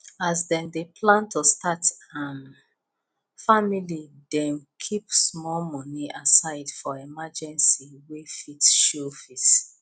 as dem dey plan to start um family dem keep small money aside for emergency wey fit show face